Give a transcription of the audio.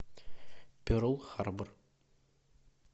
перл харбор